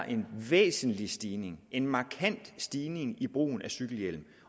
en væsentlig stigning en markant stigning i brugen af cykelhjelm